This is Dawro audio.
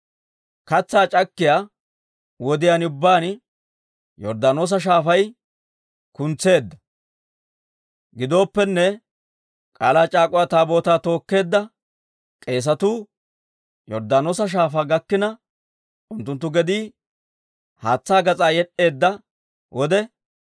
Katsaa c'akkiyaa wodiyaan ubbaan Yorddaanoosa Shaafay kuntseedda. Gidooppenne, K'aalaa c'aak'uwa Taabootaa tookkeedda k'eesatuu Yorddaanoosa Shaafaa gakkina, unttunttu gedii haatsaa gas'aa yed'd'eedda wode,